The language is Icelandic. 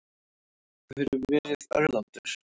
Þú hefur verið örlátur.